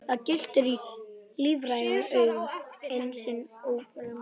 Það glittir í lífræn augu, eitt sinn ólífræn mér.